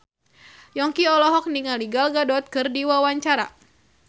Yongki olohok ningali Gal Gadot keur diwawancara